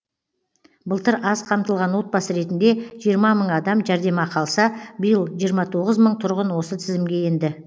былтыр аз қамтылған отбасы ретінде жиырма мың адам жәрдемақы алса биыл жиырма тоғыз мың тұрғын осы тізімге енді